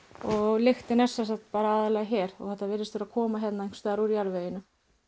lyktin er sem sagt aðallega hér og þetta virðist vera að koma hérna einhvers staðar úr jarðveginum